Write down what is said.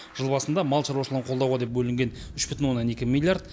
жыл басында мал шаруашылығын қолдауға деп бөлінген үш бүтін оннан екі миллиард